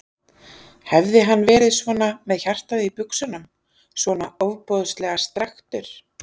Hefði hann verið svona með hjartað í buxunum, svona ofboðslega strekktur?